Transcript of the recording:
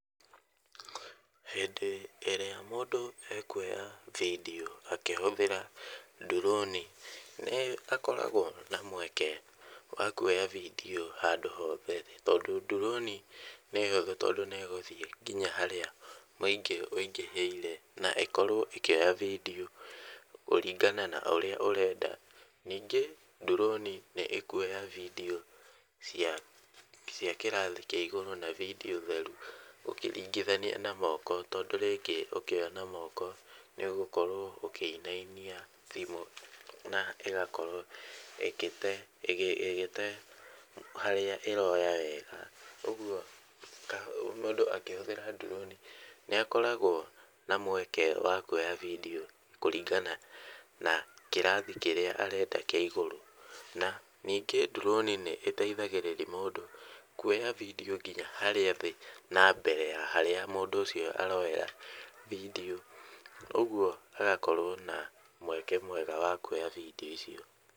Hĩndĩ ĩrĩa mũndũ ekuoya video akĩhũthĩra ndirũni nĩ akoragwo na mweke wa kuoya video handũ hothe tondũ ndirũni nĩ hũthũ tondũ nĩ ĩgũthiĩ nginya harĩa mũingĩ wĩingĩhĩire, na ĩkorwo ĩkĩoya [s] video kũringana na ũrĩa ũrenda. Ningĩ ndirũni nĩ ĩkuoya video [c] cia cia kĩrathi kĩa igũrũ na video theru ũkĩringithania na moko, tondũ rĩngĩ ũkĩoya na moko nĩ ũgũkorwo ũkĩinainia thimũ na ĩgakorwo ĩgĩte, ĩgĩte harĩa ĩroya wega. ũguo mũndũ akĩhũthĩra ndirũni nĩ akoragwo na mweke wa kuoya video kũringana na kirathi kĩrĩa arenda kĩa igũrũ. Na ningĩ ndirũni nĩ ĩteithagĩrĩria mũndũ kuoya video nginya harĩa thĩ na mbere ya harĩa mũndũ ũcio aroera video ũguo hagakorwo na mweke mwega wa kuoya video icio.